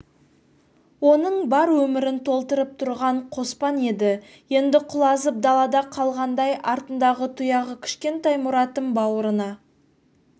оның бар өмірін толтырып тұрған қоспан еді енді құлазып далада қалғандай артындағы тұяғы кішкентай мұратын бауырына